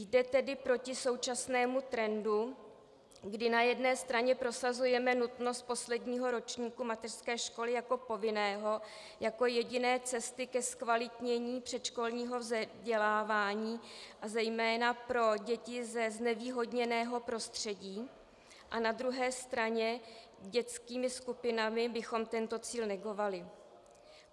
Jde tedy proti současnému trendu, kdy na jedné straně prosazujeme nutnost posledního ročníku mateřské školy jako povinného, jako jediné cesty ke zkvalitnění předškolního vzdělávání a zejména pro děti ze znevýhodněného prostředí, a na druhé straně dětskými skupinami bychom tento cíl negovali.